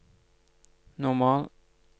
normal